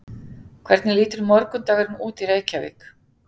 hvernig lítur morgundagurinn út í reykjavík